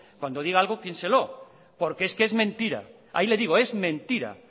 cuando diga algo piénselo porque es que es mentira ahí le digo es mentira